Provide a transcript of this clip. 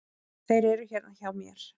Þeir eru hérna hjá mér.